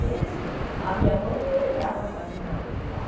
Mesmo, a minha mãe não lembrava quase nada de lá.